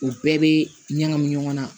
U bɛɛ bɛ ɲagami ɲɔgɔn na